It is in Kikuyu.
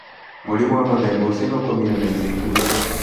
Mũrimũ wa mũthemba ũcio nĩ ũkũninwo ica ikuhĩ